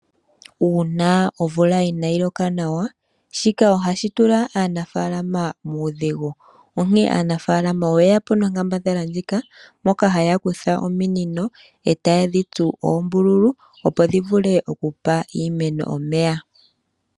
Uuna omvula inaa yi loka nawa, shika ohashi tula aanafaalama muudhigu, onkene aanafaalama oye ya po nonkambadhala ndjika, moka haya kutha ominino e ta yedhi tsu oombululu opo dhi vule oku pa iimeno omeya.